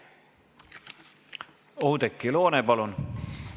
Oudekki Loone, palun!